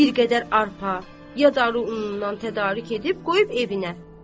Bir qədər arpa, yadaru unundan tədarük edib qoyub evinə.